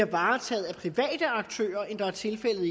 varetaget af private aktører end tilfældet